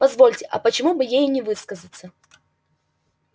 позвольте а почему бы ей и не высказаться